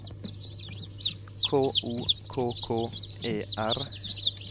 K O K K E R